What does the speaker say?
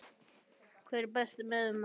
Hver er Besti miðjumaðurinn?